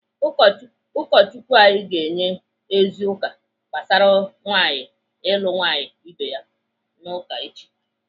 Ụkọchukwu anyị ga-enye ozi ụka gbasara nwaanyị ịlụ nwaanyị ibe ya n'uka echi.